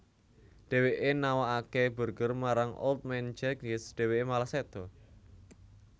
Dheweke nawakake burger marang Old Man Jenkins dheweke malah seda